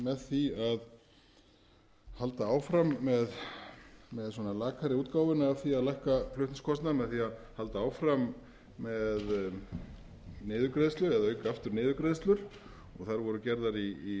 með því að halda áfram með lakari útgáfuna af því að lækka flutningskostnað með því að halda áfram með niðurgreiðslur eða auka aftur niðurgreiðslur og þær voru gerðar í